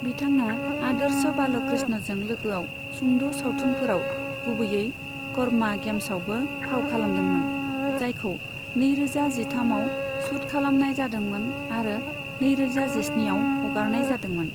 बिथाङा आदर्श बालकृष्णजों लोगोआव सुंद' सावथुनफोराव, गुबैयै कर्मा गेम्सआवबो फाव खालामदोंमोन, जायखौ नैरोजा जिथामआव शुट खालामनाय जादोंमोन आरो नैरोजा जिस्निआव हगारनाय जादोंमोन।